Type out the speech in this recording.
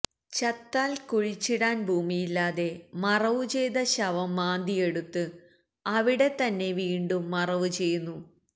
ചത്താല് കുഴിച്ചിടാന് ഭൂമിയില്ലാതെ മറവുചെയ്ത ശവം മാന്തിയെടുത്ത് അവിടെതന്നെ വീണ്ടും മറവുചെയ്യുന്നു